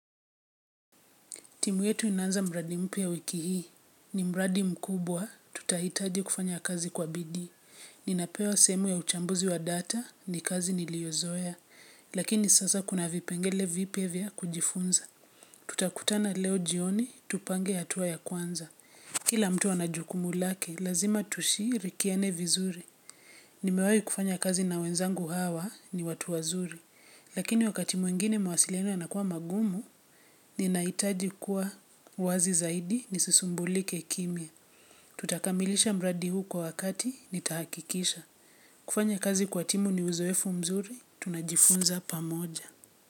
Timu yetu inaanza mradi mpya wiki hii. Ni mradi mkubwa, tutahitaji kufanya kazi kwa bidii. Ninapewa sehemu ya uchambuzi wa data ni kazi niliozoea, lakini sasa kuna vipengele vipya vya kujifunza. Tutakutana leo jioni, tupange hatua ya kwanza. Kila mtu ana jukumu lake, lazima tushiri kiane vizuri. Ni mewai kufanya kazi na wenzangu hawa ni watu wazuri, lakini wakati mwingine mawasiliano yanakuwa magumu, ninahitaji kuwa wazi zaidi ni sisumbulike kimya. Tutakamilisha mradi huu kwa wakati nitahakikisha. Kufanya kazi kwa timu ni uzoefu mzuri, tunajifunza pa moja.